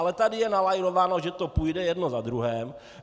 Ale tady je nalajnováno, že to půjde jedno za druhým.